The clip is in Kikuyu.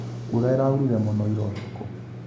Mbura ĩraurire mũno ira ũtukũ?